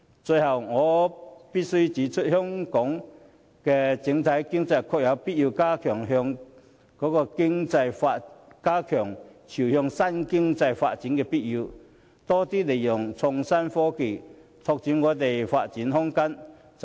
最後，我必須指出，香港的整體經濟確有必要進一步朝向新經濟發展，多加利用創新科技，拓闊發展空間。